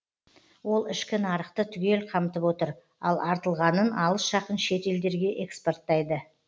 ол ішкі нарықты түгел қамтып отыр ал артылғанын алыс жақын шет елдерге экспорттайды